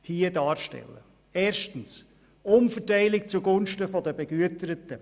Erstens handelt es sich um eine Umverteilung zugunsten der Begüterten.